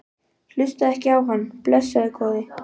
Hlustaðu ekki á hann, blessaður góði.